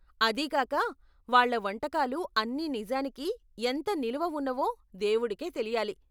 అదీకాక, వాళ్ళ వంటకాలు అన్ని నిజానికి ఎంత నిలవ ఉన్నవో దేవుడికే తెలియాలి .